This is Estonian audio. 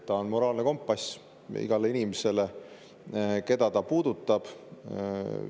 See on moraalne kompass igale inimesele, keda see puudutab.